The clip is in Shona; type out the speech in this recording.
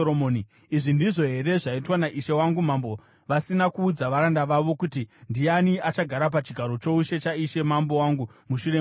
Izvi ndizvo here zvaitwa naishe wangu mambo vasina kuudza varanda vavo kuti ndiani achagara pachigaro choushe chaishe mambo wangu mushure mavo.”